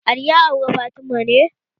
Ali ya aure Fatima ne?